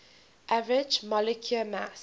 average molecular mass